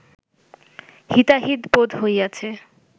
হিতাহিত বোধ হইয়াছে